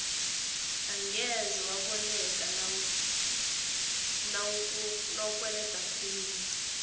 angeze waboleka nawukweleda khulu